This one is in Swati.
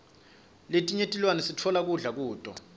letinye tilwane sitfola kudla kuto